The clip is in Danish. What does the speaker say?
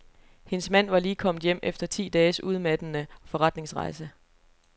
Hendes mand var lige kommet hjem efter ti dages udmattende forretningsrejse.